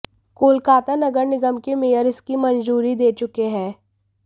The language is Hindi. कोलकाता नगर निगम के मेयर इसकी मंजूरी दे चुके हैं